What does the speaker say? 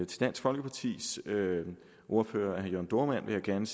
til dansk folkepartis ordfører herre jørn dohrmann vil jeg gerne